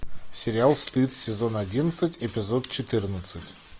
сериал стыд сезон одиннадцать эпизод четырнадцать